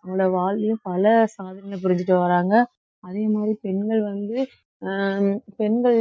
நம்மளோட வாழ்வியல் பல சாதனைகளை புரிஞ்சுட்டு வர்றாங்க அதே மாதிரி பெண்கள் வந்து அஹ் பெண்கள்